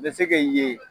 N bɛ se k'i ye